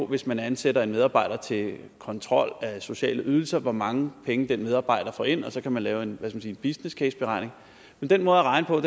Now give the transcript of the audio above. hvis man ansætter en medarbejder til kontrol af sociale ydelser hvor mange penge den medarbejder får ind og så kan man lave en en businesscaseberegning men den måde at regne på